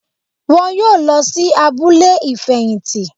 Wọn yóò lọ sí abúlé ìfẹ̀yìntì